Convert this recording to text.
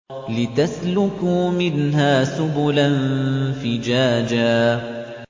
لِّتَسْلُكُوا مِنْهَا سُبُلًا فِجَاجًا